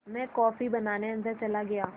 मैं कॉफ़ी बनाने अन्दर चला गया